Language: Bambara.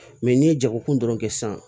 Mɛ n'i ye jagokun dɔrɔn kɛ sisan